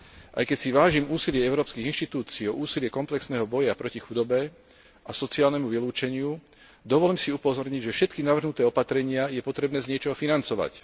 Aj keď si vážim úsilie európskych inštitúcií úsilie komplexného boja proti chudobe a sociálnemu vylúčeniu dovolím si upozorniť, že všetky navrhnuté opatrenia je potrebné z niečoho financovať.